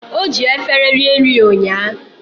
Oji efere rie nri ụńya